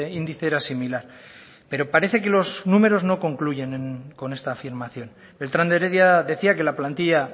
índice era similar pero parece que los números no concluyen con esta afirmación beltrán de heredia decía que la plantilla